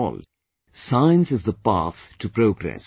After all, Science is the path to progress